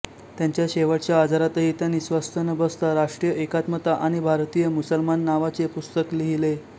त्यांच्या शेवटच्या आजारातही त्यांनी स्वस्थ न बसता राष्ट्रीय एकात्मता आणि भारतीय मुसलमान नावाचे पुस्तक लिहिले